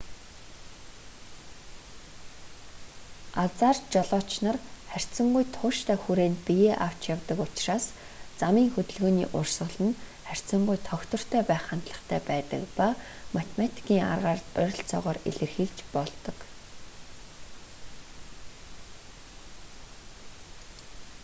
азаар жолооч нар харьцангуй тууштай хүрээнд биеэ авч явдаг учраас замын хөдөлгөөний урсгал нь харьцангуй тогтвортой байх хандлагатай байдаг ба математикийн аргаар ойролцоогоор илэрхийлж болдог